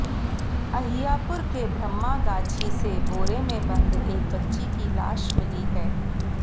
अहियापुर के ब्रह्मा गाछी से बोरे में बंद एक बच्ची की लाश मिली है